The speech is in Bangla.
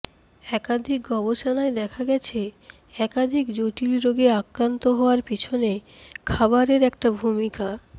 একাধিক গবেষণায় দেখা গেছে একাধিক জটিল রোগে আক্রান্ত হওয়ার পিছনে খাবারের একটা ভূমিকা